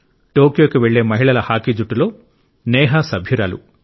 టోక్యోకు వెళ్లే మహిళల హాకీ జట్టులో నేహా సభ్యురాలు